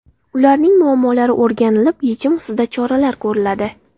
Ularning muammolari o‘rganilib yechim ustida choralar ko‘riladi.